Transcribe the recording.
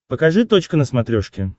покажи точка на смотрешке